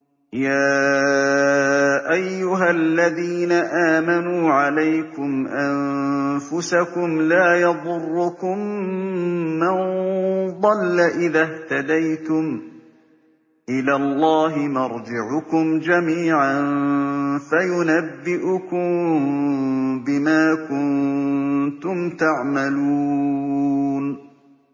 يَا أَيُّهَا الَّذِينَ آمَنُوا عَلَيْكُمْ أَنفُسَكُمْ ۖ لَا يَضُرُّكُم مَّن ضَلَّ إِذَا اهْتَدَيْتُمْ ۚ إِلَى اللَّهِ مَرْجِعُكُمْ جَمِيعًا فَيُنَبِّئُكُم بِمَا كُنتُمْ تَعْمَلُونَ